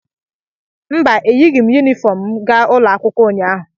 mba, Eyighị m Yunifọm m gaa ụlọ akwụkwọ ụnyahụ